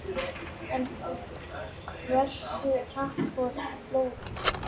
En hversu hratt fóru flóðin?